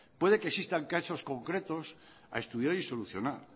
puede que existan casos concretos a estudiar y solucionar